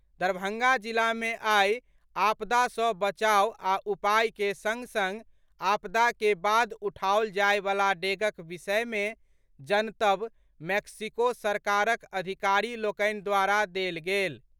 दरभंगा जिला मे आइ आपदा सँ बचाव आ उपाय के सङ्ग सङ्ग आपदा के बाद उठाओल जायवला डेगक विषयमे जनतब मैक्सिको सरकारक अधिकारी लोकनि द्वारा देल गेल।